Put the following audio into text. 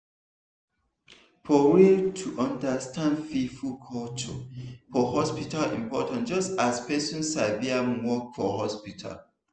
for real to understand people culture for hospital important just as person sabi im work for hospital.